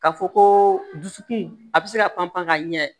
Ka fɔ ko dusukun a bi se ka panpan ka ɲɛ